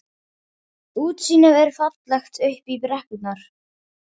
Útsýnið er fallegt upp í brekkurnar.